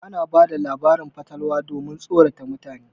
Ana bada labarin fatalwa domin tsorata mutane.